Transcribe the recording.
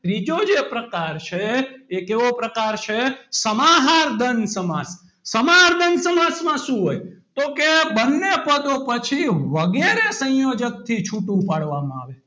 ત્રીજો જે પ્રકાર છે એ કેવો પ્રકાર છે સમાહાર દ્વંદ સમાસ સમાહાર દ્વંદ સમાસ માં શું હોય તો કે બંને પદો પછી વગેરે સંયોજકથી છૂટું પાડવામાં આવે છે.